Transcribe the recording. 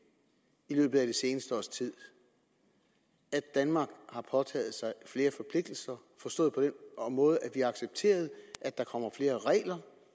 i løbet af det seneste års tid at danmark har påtaget sig flere forpligtelser forstået på den måde at vi har accepteret at der kommer flere